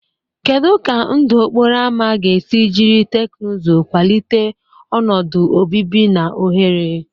Kedu ka ndụ okporo ámá ga-esi jiri teknụzụ kwalite ọnọdụ obibi na ohere?